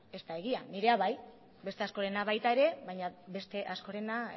ez da egia nirea bai beste askorena baita ere baina beste askorena